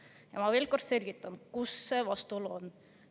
Ja ma veel kord selgitan, kus see vastuolu on.